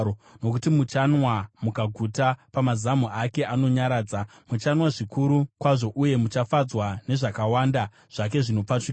Nokuti muchanwa mukaguta pamazamu ake anonyaradza; muchanwa zvikuru kwazvo uye muchafadzwa nezvakawanda zvake zvinopfachukira.”